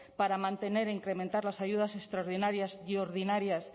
para mantener e incrementar las ayudas extraordinarias y ordinarias